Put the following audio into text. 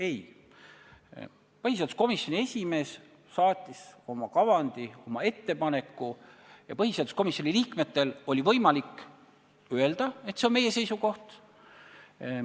Ei, põhiseaduskomisjoni esimees saatis oma kavandi, oma ettepaneku ja põhiseaduskomisjoni liikmetel oli võimalik öelda, et see on meie seisukoht.